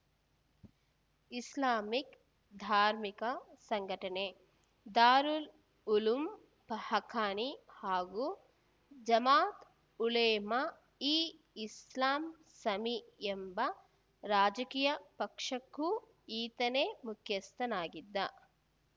Islamic ಧಾರ್ಮಿಕ ಸಂಘಟನೆ ದಾರುಲ್‌ ಉಲೂಂ ಹಕ್ಕಾನಿ ಹಾಗೂ ಜಮಾತ್‌ ಉಲೇಮಾ ಇ ಇಸ್ಲಾಮ್‌ ಸಮಿ ಎಂಬ ರಾಜಕೀಯ ಪಕ್ಷಕ್ಕೂಕ್ಕೂ ಈತನೇ ಮುಖ್ಯಸ್ಥನಾಗಿದ್ದ